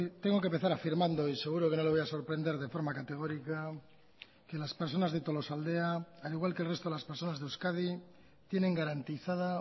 tengo que empezar afirmando y seguro que no le voy a sorprender de forma categórica que las personas de tolosaldea al igual que el resto de las personas de euskadi tienen garantizada